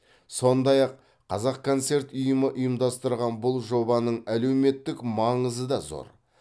сондай ақ қазақконцерт ұйымы ұйымдастырған бұл жобаның әлеуметтік маңызы да зор